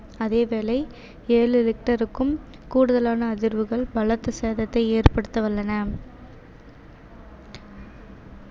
அதேவேளை ஏழு richter க்கும் கூடுதலான அதிர்வுகள் பலத்த சேதத்தை ஏற்படுத்த வல்லன